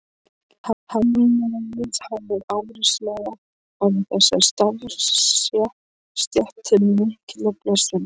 Hernámið hafði áreiðanlega orðið þessari starfsstétt til mikillar blessunar.